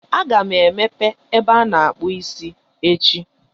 Aga m emepe ebe ana-akpụ isi echi.